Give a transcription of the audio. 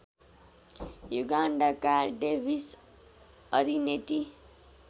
युगान्डाका Davis Arineti